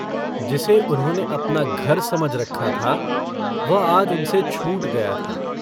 जिसे उन्होंने अपना घर समझ रखा था वह आज उनसे छूट गया था।